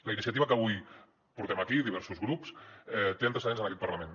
la iniciativa que avui portem aquí diversos grups té antecedents en aquest parlament